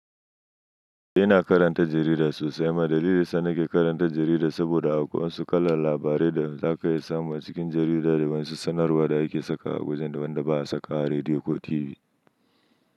Ina karanta jarida sosai. Ma dalilin da nake karanta jarida saboda akwai wasu kalar labarai da za ka iya samu a cikin jarida da wasu sanarwa da ake saka a wajen da wanda ba a saka a rediyo ko TV.